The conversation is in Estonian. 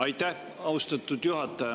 Aitäh, austatud juhataja!